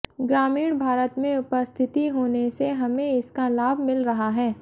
ग्रामीण भारत में उपस्थिति होने से हमें इसका लाभ मिल रहा है